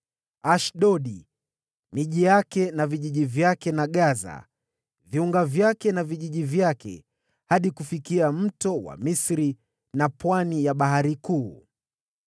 Ashdodi, miji yake na vijiji vyake na Gaza viunga vyake na vijiji vyake, hadi kufikia Kijito cha Misri na Pwani ya Bahari Kuu.